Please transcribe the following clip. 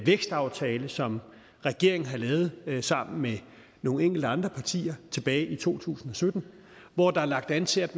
vækstaftale som regeringen har lavet sammen med nogle enkelte andre partier tilbage i to tusind og sytten hvor der er lagt an til at